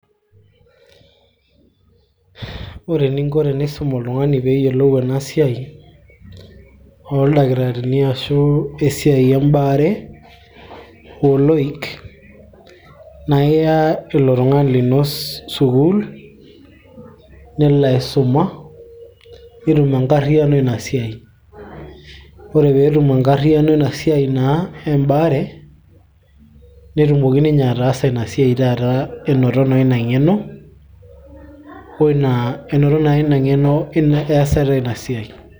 ore eninko tenisum oltung'ani peeyiolou ena siai oldakitarini ashu esiai embaare oloik naa iya ilo tung'ani lino sukuul nelo aisuma netum enkarriyiano ina siai ore peetum enkarriyiano naa embaare netumoki ninye ataasa ina siai taata enoto naa ina ng'eno easata ina siai.